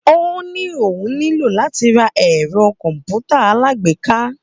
Ó ní òun nílò láti ra ẹ̀rọ kọ̀m̀pútà alágbèéká.